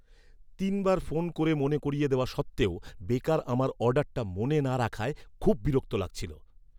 তিনবার ফোন করে মনে করিয়ে দেওয়া সত্ত্বেও বেকার আমার অর্ডারটা মনে না রাখায় খুব বিরক্ত লাগছিল।